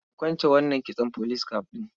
Ki kwance wannan kitson police cap ɗin.